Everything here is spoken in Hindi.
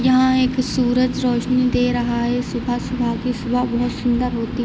यहाँ एक सूरज रोशनी दे रहा है सुबह सुबह की सूरज बहुत सुंदर होती --